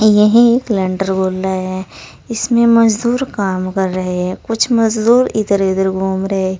यह एक हैं इसमें मजदूर काम कर रहे हैं कुछ मजदूर इधर उधर घूम रहे हैं।